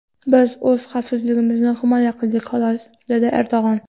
Biz o‘z xavfsizligimizni himoya qildik, xolos”, dedi Erdo‘g‘on.